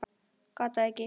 Gat það ekki.